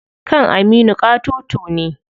Kan Aminu ƙatoto ne.